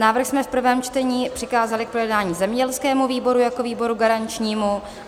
Návrh jsme v prvém čtení přikázali k projednání zemědělskému výboru jako výboru garančnímu.